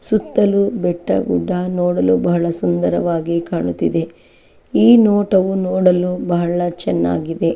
ಸುತ್ತಲೂ ಬೆಟ್ಟ ಗುಡ್ಡ ನೋಡಲು ಬಹಳ ಸುಂದರವಾಗಿ ಕಾಣುತಿದೆ ಈ ನೋಟವು ನೋಡಲು ಬಹಳ ಚೆನ್ನಾಗಿ ಇದೆ.